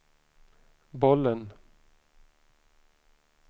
bollen